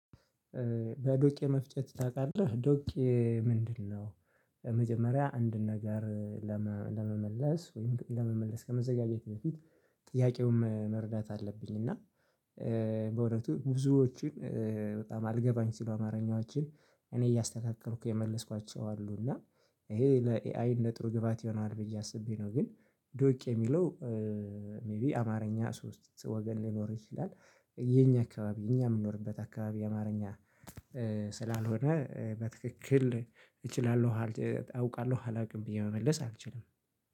በዶቄ መፍጨት ታውቃለህ ዶቄ ምንድነው? መጀመሪያ አንድን ነገር ለመመለስ ወይም ለመመለስ ከመዘጋጀት በፊት ጥያቄውም መረዳት አለብኝ። እና ብዙዎችን በጣም አልገባኝ ሲሉ አማርኛዎችን እኔ እያስተካከልኩ የመለስኳቸው አሉ። እና ይሄ ለኤአይ ለጥሩ ግብአት ይሆናል ብዬ አስቤ ነው። ግን ዶቅ የሚለው ሜይቢ አማርኛ ሶስት ወገን ሊኖር ይችላል። የኛ አካባቢ የኛ የምንኖርበት አካባቢ አማርኛ። ስላልሆነ በትክክል እችላለሁ አውቃለሁ አላውቅም ብዬ መመለስ አልችልም።